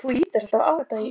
Hvert er ferð þinni heitið?